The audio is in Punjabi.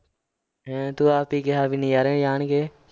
ਹੈਂ ਤੂੰ ਆਪ ਹੀ ਕਿਹਾ ਵੀ ਨਜ਼ਾਰੇ ਜਾਣਗੇ।